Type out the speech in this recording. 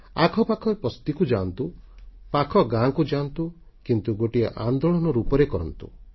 ଆଖପାଖ ବସ୍ତିକୁ ଯାଆନ୍ତୁ ପାଖ ଗାଁକୁ ଯାଆନ୍ତୁ କିନ୍ତୁ ଗୋଟିଏ ଆନ୍ଦୋଳନ ରୂପରେ କରନ୍ତୁ